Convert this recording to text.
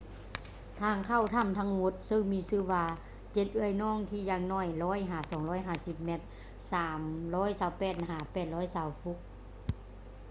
ທາງເຂົ້າຖ້ຳທັງໝົດ ເຊິ່ງມີຊື່ວ່າ ເຈັດເອື້ອຍນ້ອງ” ທີ່ຢ່າງໜ້ອຍ 100 ຫາ 250 ແມັດ 328 ຫາ 820 ຟຸດ